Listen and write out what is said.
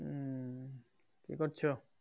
কি করছো?